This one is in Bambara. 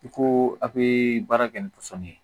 I ko a bɛ baara kɛ ni pɔsɔni ye